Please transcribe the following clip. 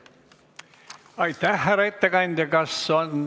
Aitäh!